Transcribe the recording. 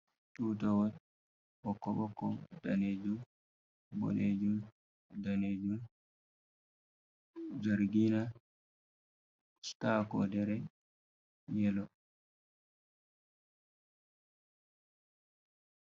Tutawol ɓokko-ɓokko, danejum, ɓoɗejum, danejum, jargina sta kodere yelo.